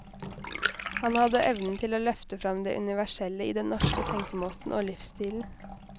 Han hadde evnen til å løfte frem det universelle i den norske tenkemåten og livsstilen.